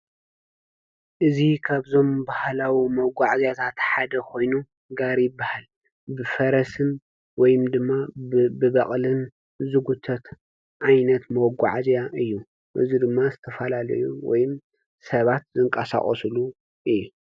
እዚ ካብዞም ባህላዊ መጓዓዝያታት ሓደ ኮይኑ ጋሪ ይብሃል፡፡ ብፈረስን ወይም ድማ ብበቅልን ዝጉተት ዓይነት መጓዓዝያ እዩ፡፡ እዚ ድማ ዝተፈላለዩ ወይ ድማ ሰባት ዝንቀሳቀስሉ እዩ፡፡